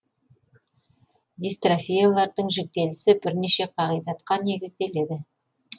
дистрофиялардың жіктелісі бірнеше қағидатқа негізделеді